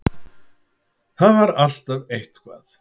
Það var alltaf eitthvað.